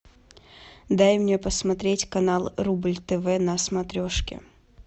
дай мне посмотреть канал рубль тв на смотрешке